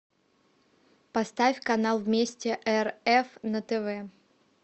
поставь канал вместе рф на тв